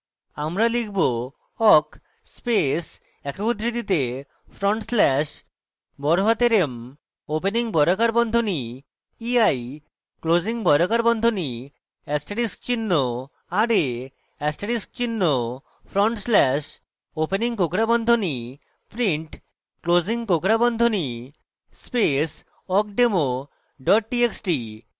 আমরা লিখব: